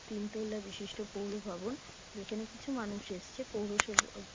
তিন তল্লা বিশিষ্ট পৌর ভবন | যেখানে কিছু মানুষ এসছে পৌরসেব --